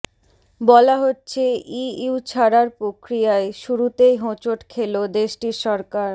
বলা হচ্ছে ইইউ ছাড়ার প্রক্রিয়ায় শুরুতেই হোঁচট খেল দেশটির সরকার